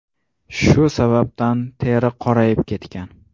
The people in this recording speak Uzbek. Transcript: Shu sababdan teri qorayib ketgan.